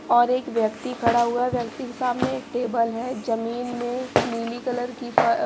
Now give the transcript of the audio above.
और एक व्यक्ति खड़ा हुआ व्यक्ति के सामने एक टेबल है जमीन में नीली कलर की फ--